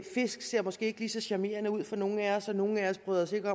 fisk ser måske ikke lige så charmerende ud for nogle af os og nogle af os bryder os ikke